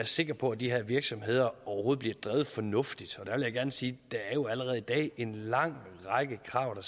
sikker på at de her virksomheder overhovedet bliver drevet fornuftigt og jeg gerne sige at der jo allerede i dag er en lang række krav der